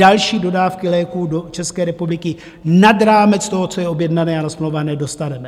Další dodávky léků do České republiky nad rámec toho, co je objednané a nasmlouvané, dostaneme.